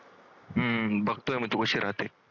हम्म बघतोय तू कशी राहते